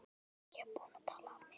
Ég er búinn að tala af mér.